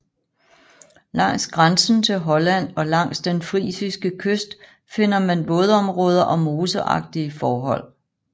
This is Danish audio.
Langs grænsen til Holland og langs den frisiske kyst finder man vådområder og moseagtige forhold